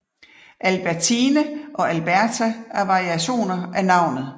Albertine og Alberta er variationer af navnet